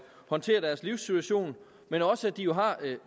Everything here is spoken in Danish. håndtere deres livssituation men også at de jo har